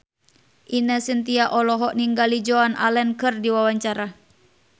Ine Shintya olohok ningali Joan Allen keur diwawancara